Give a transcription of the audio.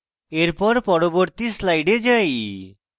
এরপর পরবর্তী slide যাই